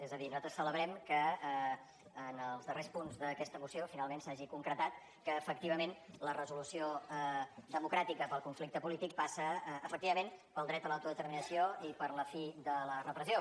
és a dir nosaltres celebrem que en els darrers punts d’aquesta moció finalment s’hagi concretat que efectivament la resolució democràtica per al conflicte polític passa efectivament pel dret a l’autodeterminació i per la fi de la repressió